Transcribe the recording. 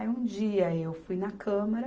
Aí um dia eu fui na câmara,